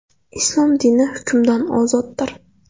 Islom dini hukmdan ozoddir.